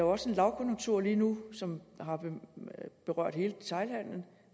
også lavkonjunktur lige nu som har berørt hele detailhandelen